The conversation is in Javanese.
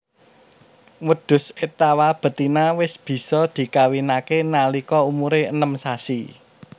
Wedhus étawa betina wis bisa dikawinake nalika umure enem sasi